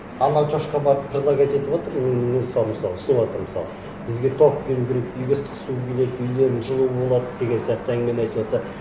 анау шошқа барып предлагать етіватыр мысалы соларды мысалы бізге тоқ беру керек үйге ыстық су келеді үйлерің жылы болады деген сияқты әңгімені айтыватса